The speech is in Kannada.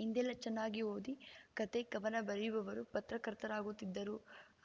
ಹಿಂದೆಲ್ಲಾ ಚೆನ್ನಾಗಿ ಓದಿ ಕಥೆಕವನ ಬರೆಯುವವರು ಪತ್ರಕರ್ತರಾಗುತ್ತಿದ್ದರು